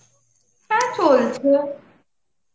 হ্যাঁ চলছে.